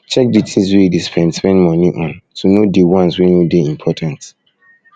check di things wey you dey spend spend money on to know di ones wey no dey important